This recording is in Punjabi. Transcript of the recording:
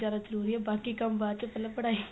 ਜਰੂਰੀ ਏ ਬਾਕੀ ਕੰਮ ਬਾਚ ਪਹਿਲਾਂ ਪੜਾਈ